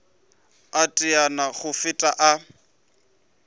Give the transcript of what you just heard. a teteane go feta a